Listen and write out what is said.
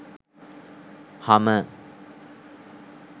hummer